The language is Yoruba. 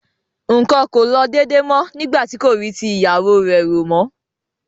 nǹkan kò lọ déédé mọ́ nígbà tí kò rí ti ìyàwó rẹ̀ rò mọ́.